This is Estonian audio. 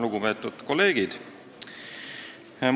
Lugupeetud kolleegid!